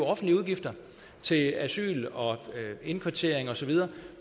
offentlige udgifter til asyl og indkvartering og så videre